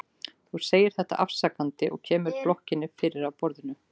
Þú segir þetta afsakandi og kemur blokkinni fyrir á borðinu.